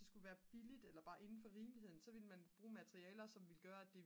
skulle være billigt eller bare inden for rimeligheden så ville man bruge materialer som gør at det